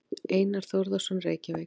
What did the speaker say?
Einar Þórðarson, Reykjavík.